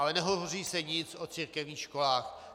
Ale nehovoří se nic o církevních školách.